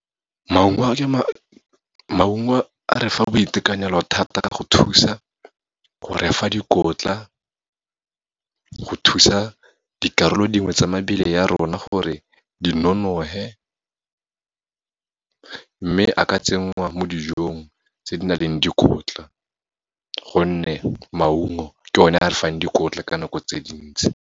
Maungo a re fa boitekanelo thata, go thusa go re fa dikotla, go thusa dikarolo dingwe tsa mebele ya rona gore di nonofe, mme a ka tsenngwa mo dijong tse di na leng le dikotla, gonne maungo ke one a re fang dikotla ka dinako tse dintsi.